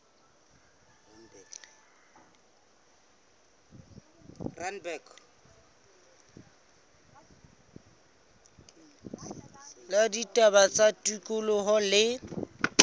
la ditaba tsa tikoloho le